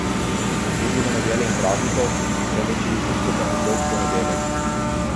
Ni bilo nedelje in praznikov, temveč je bil vse skupaj en dolg ponedeljek.